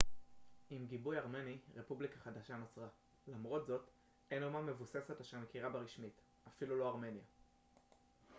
עם גיבוי ארמני רפובליקה חדשה נוצרה למרות זאת אין אומה מבוססת אשר מכירה בה רשמית אפילו לא ארמניה